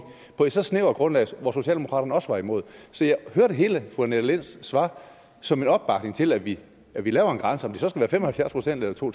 på et så snævert grundlag hvor socialdemokraterne også var imod så jeg hørte hele fru annette linds svar som en opbakning til at vi at vi laver en grænse om det så skal være fem og halvfjerds procent eller to